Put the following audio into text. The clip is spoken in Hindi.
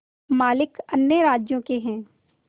मालिक अन्य राज्यों के हैं